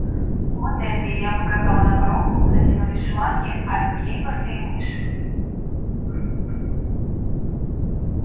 вот эта и я показала на коробку куда тянулись шланги от кейборды и мыши